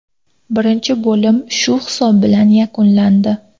Birinchi bo‘lim shu hisob bilan yakunlandi.